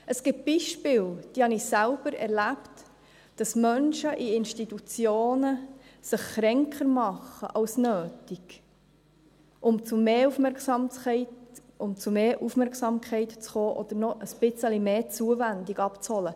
Es gibt Beispiele, die habe ich selber erlebt, wo Menschen in Institution sich kränker als nötig machen, um zu mehr Aufmerksamkeit zu kommen, oder um noch ein bisschen mehr Zuwendung abzuholen.